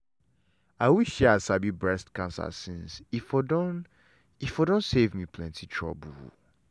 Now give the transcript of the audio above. i wish say i sabi breast cancer since e for don e for don save me plenty trouble.